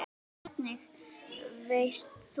Hvernig veist þú.?